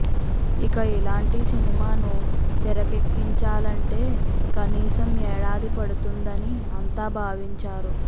ఇక ఇలాంటి సినిమాను తెరకెక్కించాలంటే కనీసం ఏడాది పడుతుందని అంతా భావించారు